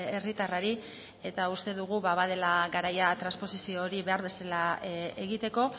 herritarrari eta uste dugu badela garaia transposizio hori behar bezala egiteko